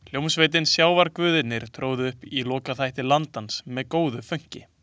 Hljómsveitin Sjávarguðirnir tróðu upp í lokaþætti Landans með góðu fönki.